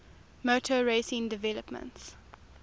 motor racing developments